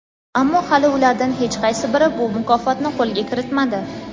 ammo hali ulardan hech qaysi biri bu mukofotni qo‘lga kiritmadi.